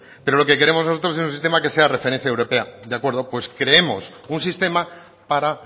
que lo queremos nosotros es un sistema que sea referencia europea de acuerdo pues creemos un sistema para